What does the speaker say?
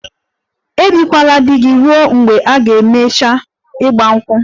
Ebikwala di gị ruo mgbe a ga-emechi 'Igba nkwu'!